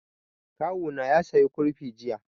Kawo na ya saya kurfi jiya